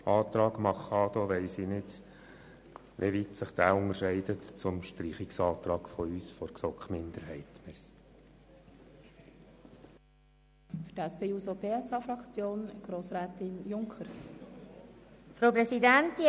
Beim Antrag Machado, der Artikel 31b streichen will, weiss ich nicht, inwieweit er sich vom Streichungsantrag der GSoKMinderheit unterscheidet.